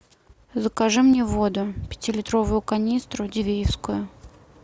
закажи мне воду пятилитровую канистру дивеевскую